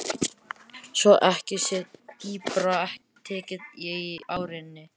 Svo ekki sé dýpra tekið í árinni.